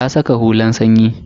Ta saka hulan sanyi.